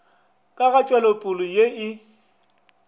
ka ga tšwelopele ye e